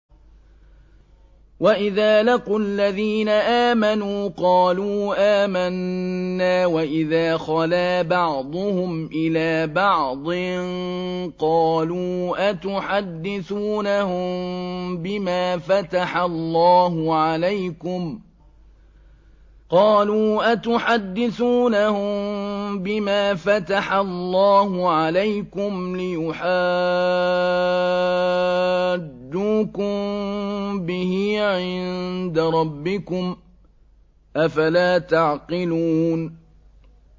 وَإِذَا لَقُوا الَّذِينَ آمَنُوا قَالُوا آمَنَّا وَإِذَا خَلَا بَعْضُهُمْ إِلَىٰ بَعْضٍ قَالُوا أَتُحَدِّثُونَهُم بِمَا فَتَحَ اللَّهُ عَلَيْكُمْ لِيُحَاجُّوكُم بِهِ عِندَ رَبِّكُمْ ۚ أَفَلَا تَعْقِلُونَ